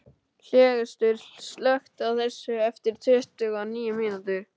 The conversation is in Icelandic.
Hlégestur, slökktu á þessu eftir tuttugu og níu mínútur.